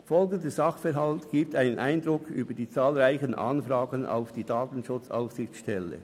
Folgender Sachverhalt gibt einen Eindruck über die zahlreichen Anfragen an die DSA: